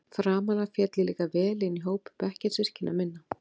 Framan af féll ég líka vel inn í hóp bekkjarsystkina minna.